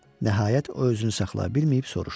Nəhayət o özünü saxlaya bilməyib soruştu.